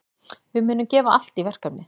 Við munum gefa allt í verkefnið.